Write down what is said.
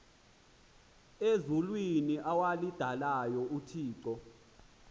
ezulwini awalidalayo uthixo